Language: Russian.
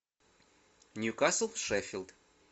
ньюкасл шеффилд